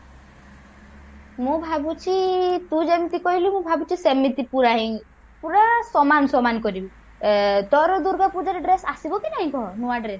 ମୁଁ ଭାବୁଛି ତୁ ଯେମତି କହିଲୁ ମୁଁ ଭାବୁଛି ସେମିତି ପୁରା ହିଁ ପୁରା ସମାନ ସମାନ କରିବି ଅ ତୋର ଦୂର୍ଗାପୂଜାରେ dress ଆସିବ କି ନାହିଁ କହ ନୂଆ dress